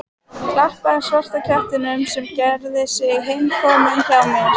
Klappaði svarta kettinum sem gerði sig heimakominn hjá mér.